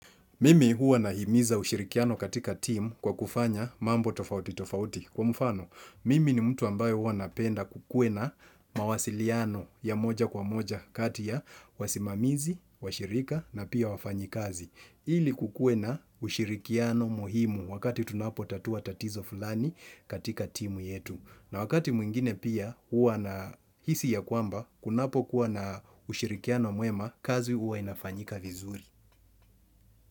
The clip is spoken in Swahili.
Mimi huwa nahimiza ushirikiano katika team kwa kufanya mambo tofauti tofauti kwa mfano. Mimi ni mtu ambaye huwa napenda kukuwe na mawasiliano ya moja kwa moja kati ya wasimamizi, washirika na pia wafanyikazi. Ili kukuwe na ushirikiano muhimu wakati tunapotatua tatizo fulani katika team yetu. Na wakati mwingine pia huwa na hisia kwamba kunapokuwa na ushirikiano mwema kazi huwa inafanyika vizuri.